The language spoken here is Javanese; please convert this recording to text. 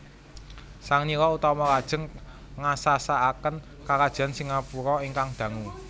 Sang Nila Utama lajeng ngasasaken Karajan Singapura ingkang dangu